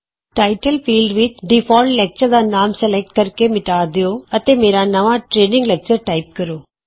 title field ਵਿਚ default lecture ਦਾ ਨਾਮ ਸਲੈਕਟ ਕਰਕੇ ਮਿਟਾ ਦਿਉ ਅਤੇ ਮੇਰਾ ਨਵਾਂ ਟਰੇਨਿੰਗ ਲੈਕਚਰ ਟਾਈਪ ਕਰੋ